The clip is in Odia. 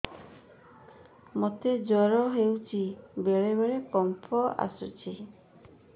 ମୋତେ ଜ୍ୱର ହେଇଚି ବେଳେ ବେଳେ କମ୍ପ ଆସୁଛି